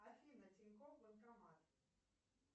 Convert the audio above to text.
афина тинькофф банкомат